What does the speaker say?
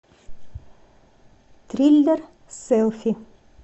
триллер селфи